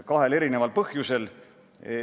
Selleks on kaks põhjust.